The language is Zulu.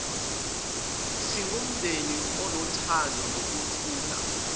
singumndeni onothando nokuthula